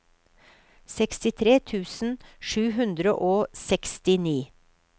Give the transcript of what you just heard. sekstitre tusen sju hundre og sekstini